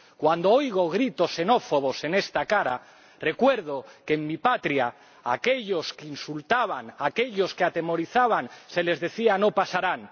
Cuando oigo gritos xenófobos en esta Cámara recuerdo que, en mi patria, a aquellos que insultaban, a aquellos que atemorizaban, se les decía No pasarán.